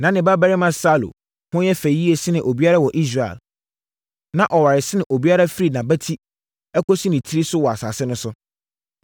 Na ne babarima Saulo ho yɛ fɛ yie sene obiara wɔ Israel. Na ɔware sene obiara firi nʼabati kɔsi ne tiri so wɔ asase no so.